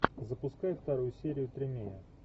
запускай вторую серию тримея